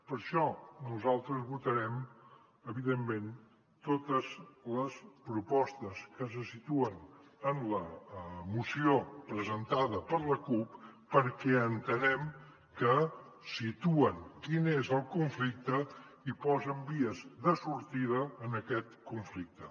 per això nosaltres votarem evidentment totes les propostes que se situen en la moció presentada per la cup perquè entenem que situen quin és el conflicte i posen vies de sortida en aquest conflicte